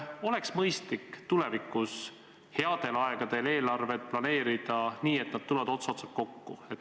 Kas oleks mõistlik tulevikus headel aegadel eelarvet planeerida nii, et see tuleb ots otsaga kokku?